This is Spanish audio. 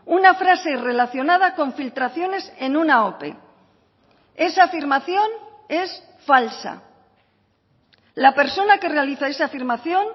una frase relacionada con filtraciones en una ope esa afirmación es falsa la persona que realiza esa afirmación